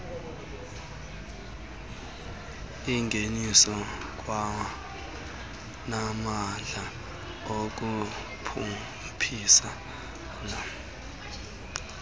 ingeniso kwanamandla okukhuphisana